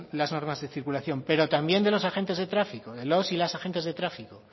las normas de circulación pero también de los agentes de tráfico de los y las agentes de tráfico